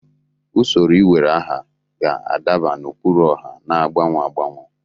Usoro iwere aha ga-adaba n'ụkpụrụ ọha na-agbanwe agbanwe.